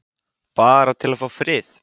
Bara til að fá frið.